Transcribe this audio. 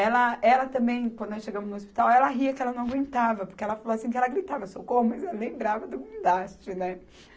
Ela, ela também, quando nós chegamos no hospital, ela ria que ela não aguentava, porque ela falou assim, que ela gritava socorro, mas ela lembrava do guindaste, né?